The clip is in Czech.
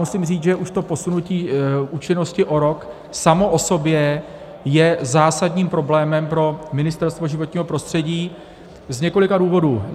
Musím říct, že už to posunutí účinnosti o rok samo o sobě je zásadním problémem pro Ministerstvo životního prostředí z několika důvodů.